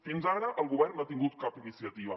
fins ara el govern no ha tingut cap iniciativa